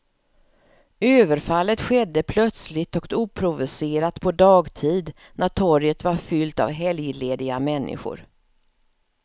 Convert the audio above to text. Överfallet skedde plötsligt och oprovocerat på dagtid när torget var fyllt av helglediga människor.